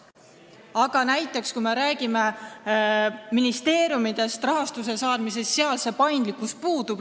Aga kui me räägime näiteks ministeeriumidest rahastuse saamise mõttes, siis seal see paindlikkus puudub.